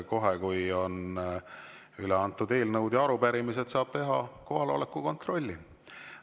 Kohe, kui on üle antud eelnõud ja arupärimised, saab teha kohaloleku kontrolli.